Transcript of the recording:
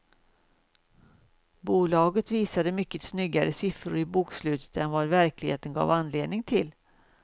Bolaget visade mycket snyggare siffror i bokslutet än vad verkligheten gav anledning till.